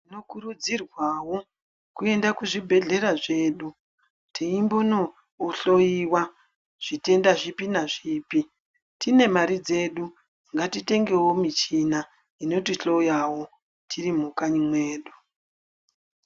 Tinokurudzirwavo kuenda kuzvibhedhlera zvedu teimbonohloiwa zvitenda zvipi nazvipi. Tine mari dzedu ngatitengevo michina inotihloyavo tiri kukanyi mwedu.